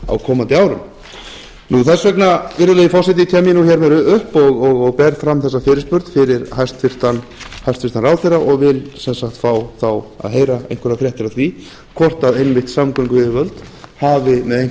á komandi árum þess vegna virðulegi forseti kem ég nú hérna upp og ber fram þessa fyrirspurn fyrir hæstvirtan ráðherra og vil sem sagt fá að heyra einhverjar fréttir af því horft einmitt samgönguyfirvöld hafi með